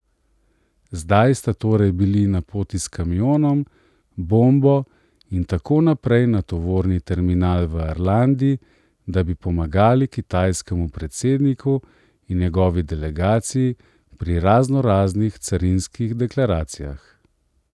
Zdaj sta torej bili na poti s kamionom, bombo in tako naprej na tovorni terminal v Arlandi, da bi pomagali kitajskemu predsedniku in njegovi delegaciji pri raznoraznih carinskih deklaracijah.